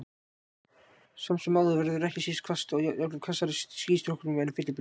Samt sem áður verður ekki síður hvasst, og jafnvel hvassara í skýstrókum en fellibyljum.